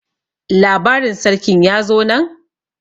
labarin sarkin ya zo nan?